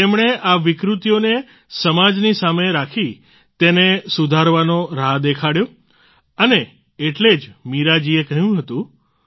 તેમણે આ વિકૃતિઓને સમાજની સામે રાખી તેને સુધારવાનો રાહ દેખાડ્યો અને એટલે જ મીરા જીએ કહ્યું હતું